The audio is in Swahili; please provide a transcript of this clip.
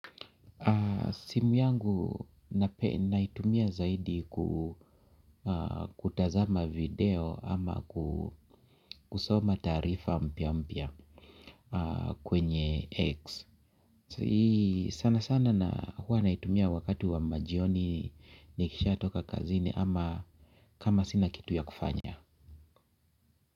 Simu yangu naitumia zaidi kutazama video ama kusoma taarifa mpya mpya kwenye X. Sana sana na huwa naitumia wakati wa majioni nikisha toka kazini ama kama sina kitu ya kufanya.